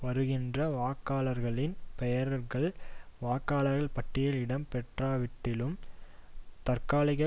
வருகின்ற வாக்காளர்களின் பெயர்கள் வாக்காளர் பட்டியலில் இடம் பெற்காவிட்டிலும் தற்காலிக